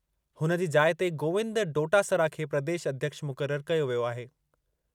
हुन जी जाइ ते गोविंद डोटासरा खे प्रदेश अध्यक्ष मुक़रर कयो वियो आहे।